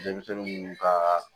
Denmisɛnnin munnu ka